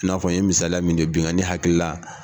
I n'a fɔ n ye misaliya min di binnkanni hakilila.